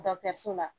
so la